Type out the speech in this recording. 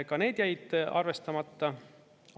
Ka need jäid arvestamata.